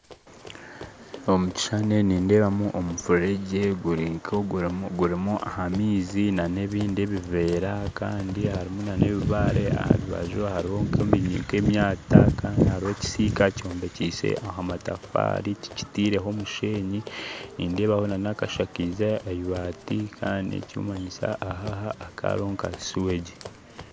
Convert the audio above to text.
Omu kishushani nindeeba omufuregye gurimu amaizi n'ebindi ebiveera kandi harimu n'ebibaare aharubaju hariho ebiri nk'omwata kandi hariho ekisiika kyombekise amatafaari tikitireho mushenyi nindeebaho nakashakiize amabati kandi ekirikumanyisa aha hakaba hariho suwegi